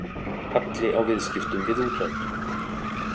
Halli á viðskiptum við útlönd